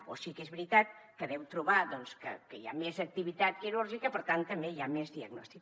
o sí que és veritat que deu trobar que hi ha més activitat quirúrgica per tant també hi ha més diagnòstic